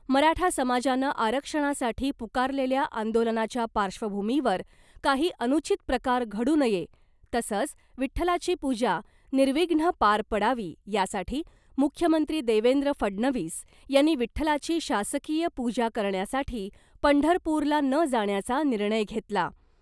मराठा समाजानं आरक्षणासाठी पुकारलेल्या आंदोलनाच्या पार्श्वभूमीवर काही अनुचित प्रकार घडू नये तसंच विठ्ठलाची पूजा निर्विघ्न पार पडावी , यासाठी मुख्यमंत्री देवेंद्र फडणवीस यांनी विठ्ठलाची शासकीय पूजा करण्यासाठी पंढरपूरला न जाण्याचा निर्णय घेतला .